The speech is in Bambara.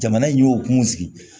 Jamana in y'o kun sigi